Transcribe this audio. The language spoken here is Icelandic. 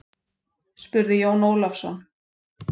spurði Jón Ólafsson.